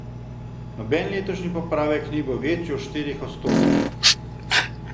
Noben letošnji popravek ni bil večji od štirih odstotkov.